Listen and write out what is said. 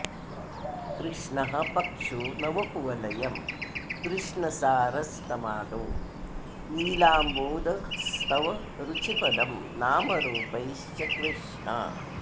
कृष्णः पक्षो नवकुवलयं कृष्णसारस्तमालो नीलाम्भोदस्तव रुचिपदं नामरूपैश्च कृष्णा